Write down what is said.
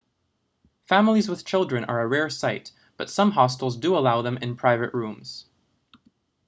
families with children are a rare sight but some hostels do allow them in private rooms